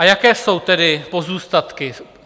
A jaké jsou tedy pozůstatky?